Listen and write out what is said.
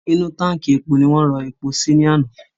Inú táǹkì epo ni wọ́n rọ epo sí lánàá.